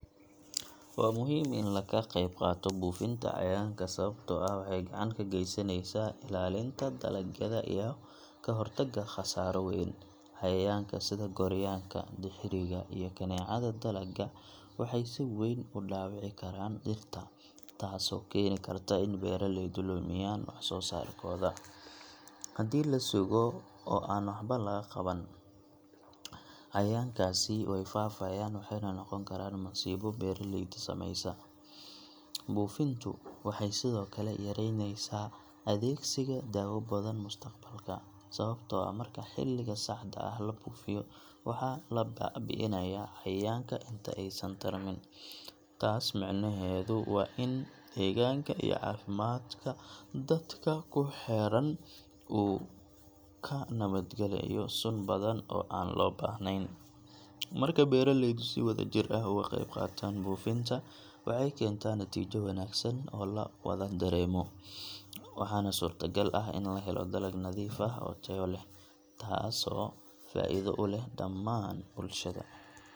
Waa muhiim in la ka qayb qaato buufinta cayayaanka sababtoo ah waxay gacan ka geysaneysaa ilaalinta dalagyada iyo ka hortagga khasaaro weyn. Cayayaanka sida gooryaanka, dirxiga, iyo kaneecada dalagga waxay si weyn u dhaawici karaan dhirta, taasoo keeni karta in beeraleydu lumiyaan wax-soo-saarkooda. Haddii la sugo oo aan waxba la qaban, cayayaankaasi way faafayaan waxayna noqon karaan masiibo beeraleyda saameysa. Buufintu waxay sidoo kale yaraynaysaa adeegsiga daawo badan mustaqbalka, sababtoo ah marka xilliga saxda ah la buufiyo, waxaa la baabi’inayaa cayayaanka inta aysan tarmin. Taas macnaheedu waa in deegaanka iyo caafimaadka dadka ku xeeran uu ka nabad galayo sun badan oo aan loo baahnayn. Marka beeraleydu si wadajir ah uga qayb qaataan buufinta, waxay keentaa natiijo wanaagsan oo la wada dareemo, waxaana suurtagal ah in la helo dalag nadiif ah oo tayo leh, taasoo faa’iido u leh dhammaan bulshada.